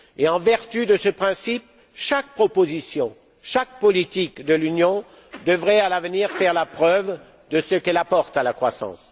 En vertu de ce principe, chaque proposition, chaque politique de l'Union devrait à l'avenir faire la preuve de ce quelle apporte à la croissance.